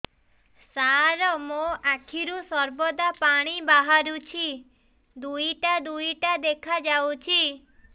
ସାର ମୋ ଆଖିରୁ ସର୍ବଦା ପାଣି ବାହାରୁଛି ଦୁଇଟା ଦୁଇଟା ଦେଖାଯାଉଛି